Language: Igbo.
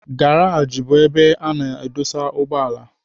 Garaj bụ ebe a na-adụsa ugbọala.